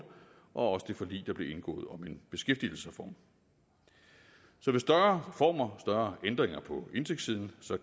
og også det forlig der blev indgået om en beskæftigelsesreform så ved større reformer større ændringer på indtægtssiden